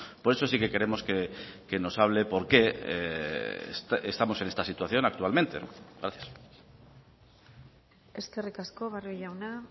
por eso sí que queremos que nos hable por qué estamos en esta situación actualmente gracias eskerrik asko barrio jauna